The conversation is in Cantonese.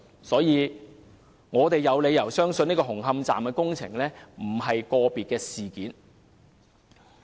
所以，我們有理由相信紅磡站的工程問題並非個別事件。